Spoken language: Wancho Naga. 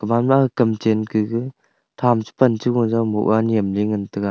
gama kam chen kage tham che pan chego jaw moh a nyemley ngan tega.